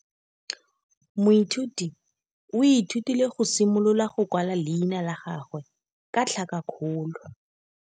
Moithuti o ithutile go simolola go kwala leina la gagwe ka tlhakakgolo.